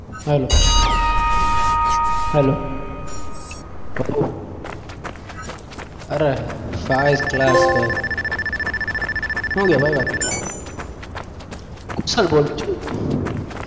ભાઈ શું છે ભાઈ બાકી શું બોલ કેવું